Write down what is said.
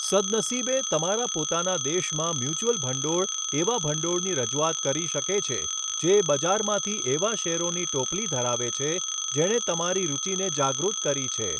સદનસીબે, તમારા પોતાના દેશમાં મ્યુચ્યુઅલ ભંડોળ એવા ભંડોળની રજૂઆત કરી શકે છે જે બજારમાંથી એવા શેરોની ટોપલી ધરાવે છે જેણે તમારી રૂચિને જાગૃત કરી છે.